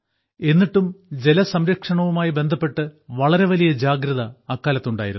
എന്നിട്ടും ജലസംരക്ഷണവുമായി ബന്ധപ്പെട്ട് വളരെ വലിയ ജാഗ്രത അക്കാലത്തുണ്ടായിരുന്നു